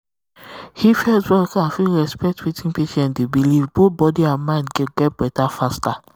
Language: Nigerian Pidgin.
if health um worker fit respect wetin patient dey um believe both body and um mind go get better faster.